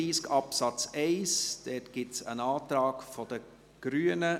Zu Artikel 32 Absatz 1 gibt es einen Antrag der Grünen.